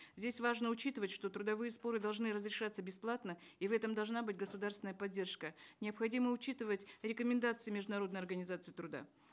здесь важно учитывать что трудовые споры должны разрешаться бесплатно и в этом должна быть государственная поддержка необходимо учитывать рекомендации международной организации труда